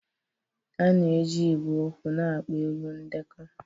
A na-eji igwe okwu na-akpọ egwu edekọ